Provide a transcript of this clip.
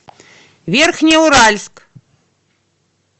верхнеуральск